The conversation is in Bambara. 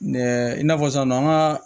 i n'a fɔ sisan nɔ an ka